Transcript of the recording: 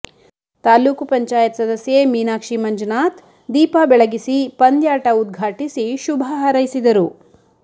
ತಾಲೂಕು ಪಂಚಾಯತ್ ಸದಸ್ಯೆ ಮೀನಾಕ್ಷಿ ಮಂಜುನಾಥ್ ದೀಪ ಬೆಳಗಿಸಿ ಪಂದ್ಯಾಟ ಉದ್ಘಾಟಿಸಿ ಶುಭ ಹಾರೈಸಿದರು